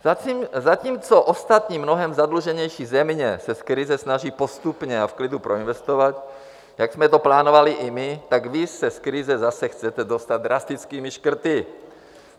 Zatímco ostatní mnohem zadluženější země se z krize snaží postupně a v klidu proinvestovat, jak jsme to plánovali i my, tak vy se z krize zase chcete dostat drastickými škrty!